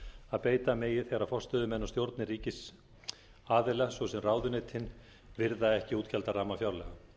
að beita megi þegar forstöðumenn og stjórnir ríkisaðila svo sem ráðuneytin virða ekki útgjaldaramma fjárlaga